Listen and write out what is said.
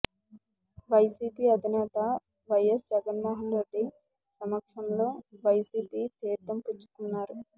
YCP అధినేత వైయస్ జగన్మోహన్ రెడ్డి సమక్షంలో వైసీపీ తీర్థం పుచ్చుకున్నారు